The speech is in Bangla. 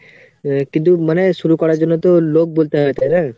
কিন্তু মানে শুরু করার জন্য তো লোক বলতে হবে তাইনা?